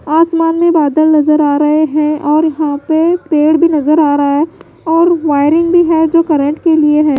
आसमान में बादल नजर आ रहे हैं और यहां पे पेड़ भी नजर आ रहा है और वायरिंग भी है जो करंट के लिए है।